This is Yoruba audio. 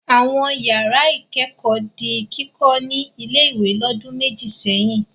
Àwọn ìyàrá-ìkẹ́kọ̀ọ́ di kíkọ́ ní ilé-ìwé lọ́dún méjì sẹ́yìn.